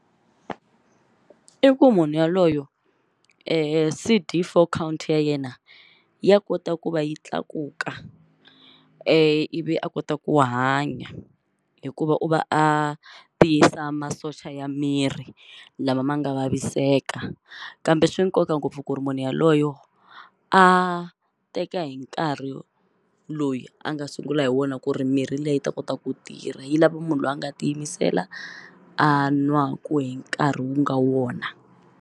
I ku munhu yaloyo C_D_Four count ya yena ya kota ku va yi tlakuka ivi a kota ku hanya hikuva u va a tiyisa masocha ya miri lama ma nga vaviseka kambe swi nkoka ngopfu ku ri munhu yaloyo a teka hi nkarhi loyi a nga sungula hi wona ku ri mirhi liya yi ta kota ku tirha yi lava munhu lwa nga tiyimisela a nwaku hi nkarhi wu nga wona.